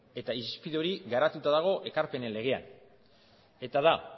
eta irizpide hori garatuta dago ekarpenen legean eta da